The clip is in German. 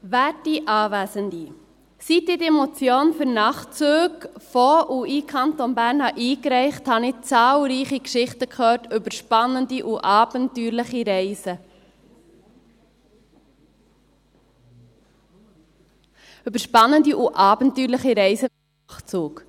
Seit ich diese Motion für Nachtzüge aus und in den Kanton Bern einreichte, hörte ich zahlreiche Geschichten über spannende und abenteuerliche Reisen, über spannende und abenteuerliche Reisen mit dem Nachtzug.